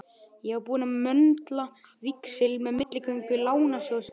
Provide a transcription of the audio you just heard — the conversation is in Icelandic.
Ég var búinn að möndla víxil með milligöngu Lánasjóðsins.